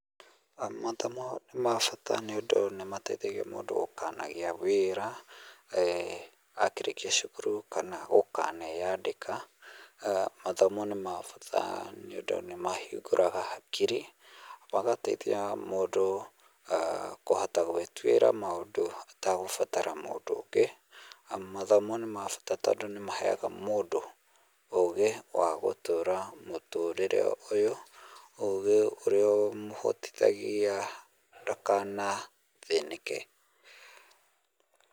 Mathomo nĩ ma bata nĩũndũ nĩmateithagia mũndũ gũkanagĩa wĩra akĩrĩkia cukuru, kana gũkaneyandĩka . Mathomo nĩ ma bata nĩtondũ nĩmahingũraga hakiri .Magateithia mũndũ kũhota guĩtũĩra maũndũ atagũbatara mũndũ ũngĩ. Mathomo nĩ ma bata tondũ nĩmahega mũndũ ũgĩ wa mũtũrĩre ũyũ, ũgĩ ũrĩa ũmũhotithagia ndakanathĩnĩke.